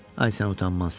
Ay sən utanmaz.